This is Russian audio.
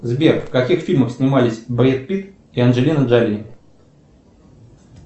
сбер в каких фильмах снимались брэд питт и анджелина джоли